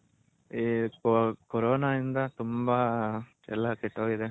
ಈ ಕೊರೊನಾ ಇಂದ ತುಂಬಾ ಎಲ್ಲಾ ಕೆಟ್ಟೋಗಿದೆ.